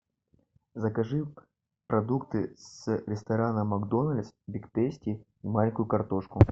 закажи продукты с ресторана макдональдс биг тейсти маленькую картошку